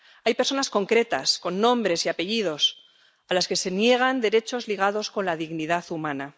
Hay personas concretas, con nombres y apellidos, a las que se niegan derechos ligados con la dignidad humana.